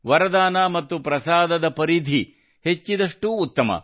ವರದಾನ ಮತ್ತು ಪ್ರಸಾದದ ಪರಿಧಿ ಹೆಚ್ಚಿದಷ್ಟೂ ಉತ್ತಮ